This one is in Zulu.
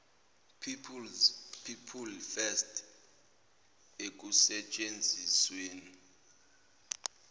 people first ekusetshenzisweni